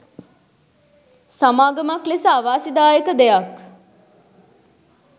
සමාගමක් ලෙස අවාසිදායක දෙයක්.